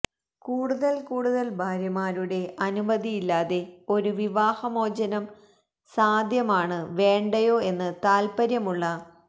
കൂടുതൽ കൂടുതൽ ഭാര്യമാരുടെ അനുമതിയില്ലാതെ ഒരു വിവാഹമോചനം സാധ്യമാണ് വേണ്ടയോ എന്ന് താൽപ്പര്യമുള്ള